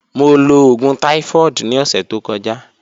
Mo lo oogun typhoid ni ọsẹ to kọja.